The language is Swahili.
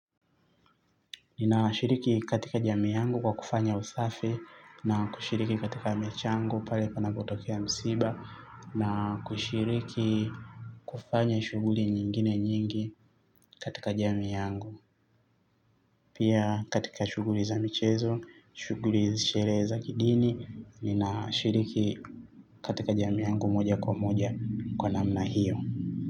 Ninashiriki katika jamii yangu kwa kufanya usafi na kushiriki katika michango pale panapotokea msiba na kushiriki kufanya shuguli nyingine nyingi katika jami yangu. Pia katika shughuli za michezo, shughuli, sherehe za kidini, ninashiriki katika jamii yangu moja kwa moja kwa namna hiyo.